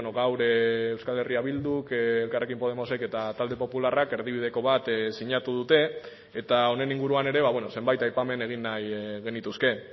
gaur euskal herria bilduk elkarrekin podemosek eta talde popularrak erdibideko bat sinatu dute eta honen inguruan ere zenbait aipamen egin nahi genituzke